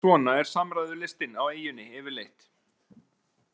Svona er samræðulistin á eyjunni yfirleitt.